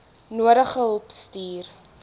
nodige hulp stuur